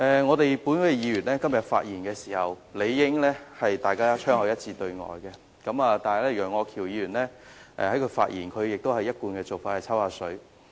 至於本會議員，我們今天的發言亦應槍口一致對外，但楊岳橋議員仍採取其一貫作風，在發言中"抽水"。